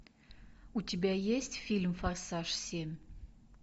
у тебя есть фильм форсаж семь